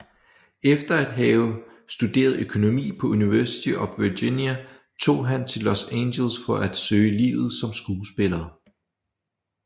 Efter at have studeret økonomi på University of Virginia tog han til Los Angeles for at søge livet som skuespiller